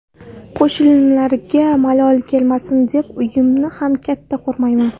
Qo‘shnilarimga malol kelmasin deb, uyimni ham katta qurmayman.